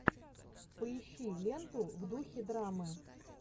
поищи ленту в духе драмы